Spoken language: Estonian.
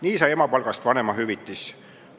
Nii sai emapalgast vanemahüvitis.